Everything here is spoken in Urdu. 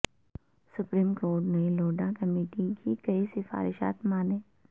سپریم کورٹ نے لوڈھا کمیٹی کی کئی سفارشات مانیں